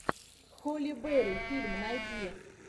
холли берри фильм найди